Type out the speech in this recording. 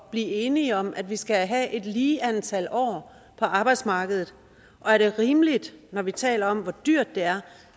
blive enige om at vi skal have et lige antal år på arbejdsmarkedet og er det rimeligt når vi taler om hvor dyrt det er